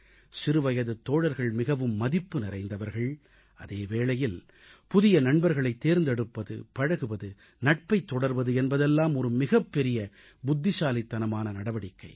சிறுவயதுத் தோழர்கள் மிகவும் மதிப்பு நிறைந்தவர்கள் அதே வேளையில் புதிய நண்பர்களைத் தேர்ந்தெடுப்பது பழகுவது நட்பைத் தொடர்வது என்பதெல்லாம் ஒரு மிகப் பெரிய புத்திசாலித்தனமான நடவடிக்கை